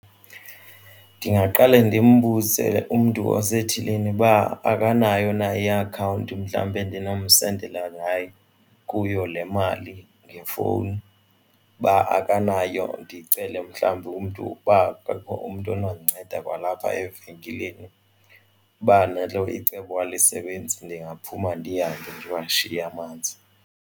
Ndingaqale ndimbuze umntu osethilini uba akanayo na iakhawunti mhlawumbe endinomsendela kuyo le mali ngefowuni. Uba akanayo ndicele mhlawumbi umntu ukuba akukho umntu onokundinceda kwalapha evenkileni, uba nalo icebo alisebenzi ndingaphuma ndihambe ndiwashiye amanzi.